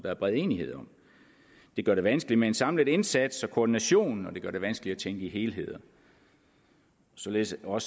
er bred enighed om det gør det vanskeligt med en samlet indsats og med koordinationen og det gør det vanskeligt at tænke i helheder således for